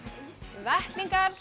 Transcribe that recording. vettlingar